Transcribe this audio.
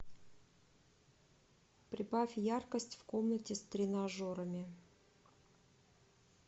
прибавь яркость в комнате с тренажерами